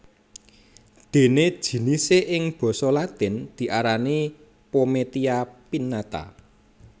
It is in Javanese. Dene jinisé ing basa latin diarani pometia pinnata